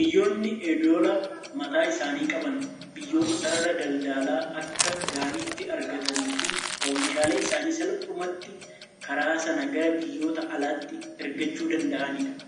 Biyyoonni edoola mataa isaanii qaban, biyyoota sarara daldalaa akka gaariitti argatanii fi oomishaalee isaanii salphumatti karaa sana gara biyyoota alaatti ergachuu danda'anidha.